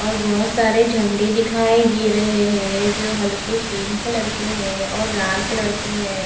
और बहोत सारे झंडे दिखाई दे रहे हैं जो हल्के पिंक कलर के हैं और लाल कलर के हैं।